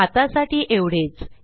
आत्तासाठी एवढेच